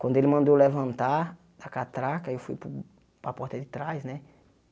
Quando ele mandou levantar a catraca, eu fui para o para a porta de trás, né?